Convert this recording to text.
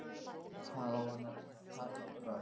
Hvað á hann að taka til bragðs?